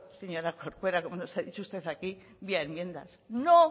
señora corcuera como nos ha dicho usted aquí vía enmiendas no